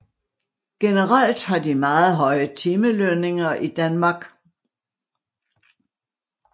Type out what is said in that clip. Generelt har de meget høje timelønninger i Danmark